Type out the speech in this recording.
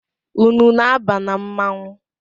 Unu na-aba na mmanwụ?